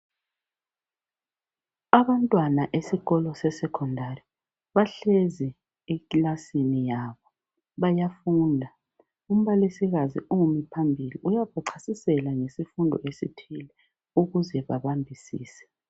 Abantwana esikolo se secondary bahlezi ekilasini yabo bayafunda. Umbalisikazi umi phambili uyabachasisela ngesifundo esithile ukuze babambisise.